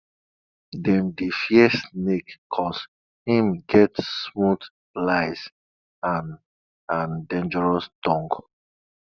dem dey fear snake cause im get smooth lies and and dangerous tongue